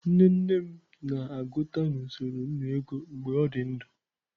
Nne nne m na-aguta na usoro nnu ego mgbe o di ndu.